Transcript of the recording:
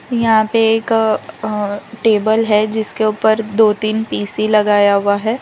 और यहाँ पे एक अह टेबल है जिसके ऊपर दो तीन पी_सी लगाया हुआ है।